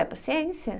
É paciência.